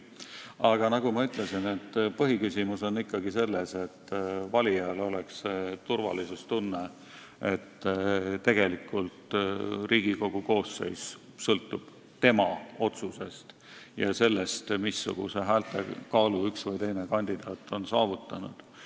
Aga nagu ma ütlesin, põhiküsimus on ikkagi selles, et valijal oleks turvalisustunne, et tegelikult sõltub Riigikogu koosseis tema otsusest ja sellest, missuguse häältekaalu üks või teine kandidaat on saavutanud.